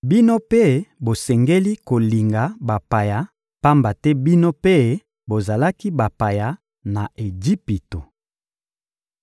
Bino mpe bosengeli kolinga bapaya, pamba te bino mpe bozalaki bapaya na Ejipito.